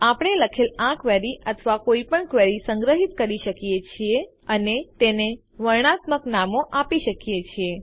આપણે લખેલ આ ક્વેરી અથવા કોઈપણ ક્વેરીને સંગ્રહિત કરી શકીએ છીએ અને તેને વર્ણનાત્મક નામો આપી શકીએ છીએ